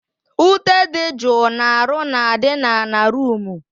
Ute dị jụụ na-arụ na adị na ana roomu